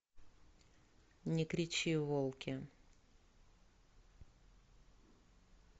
не кричи волки